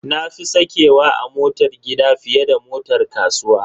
Na fi sakewa a motar gida fiye da motar kasuwa.